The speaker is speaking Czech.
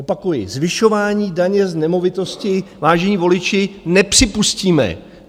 Opakuji: Zvyšování daně z nemovitosti, vážení voliči, nepřipustíme.